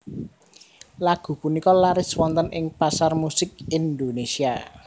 Lagu punika laris wonten ing pasar musik Indonésia